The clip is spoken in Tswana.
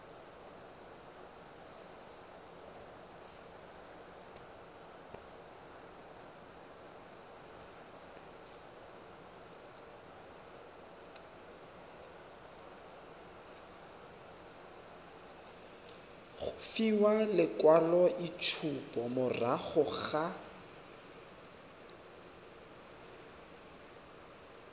go fiwa lekwaloitshupo morago ga